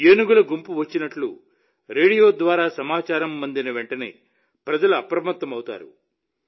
ఏనుగుల గుంపు వచ్చినట్లు రేడియో ద్వారా సమాచారం అందిన వెంటనే ప్రజలు అప్రమత్తమవుతారు